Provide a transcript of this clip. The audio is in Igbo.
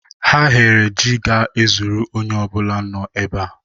Ha ghere jí ga-ezuru onye ọ bụla nọ ebe a.